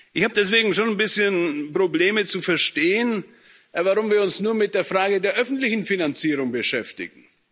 Ich habe deswegen schon ein bisschen Probleme zu verstehen, warum wir uns nur mit der Frage der öffentlichen Finanzierung beschäftigen.